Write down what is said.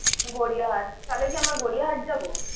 গড়িয়াহাট। তাহলে কি আমরা গড়িয়াহাট যাবো?